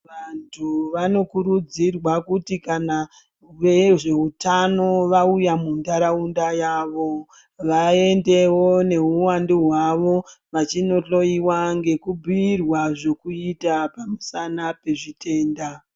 Vantu vanokurudzirwa kuti kana vezveutano vauya muntaraunda yavo vaendewo neuwandu hwavo vachinohloyiwa ngekubhiirwa zvekuita pamusana pezvitenda.